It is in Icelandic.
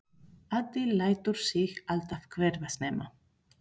Addi lætur sig alltaf hverfa snemma.